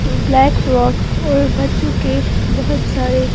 black frock और बच्चों के बहुत सारे--